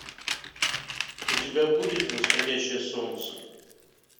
у тебя будет восходящее солнце